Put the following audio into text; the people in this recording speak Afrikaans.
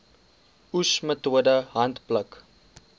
oes metode handpluk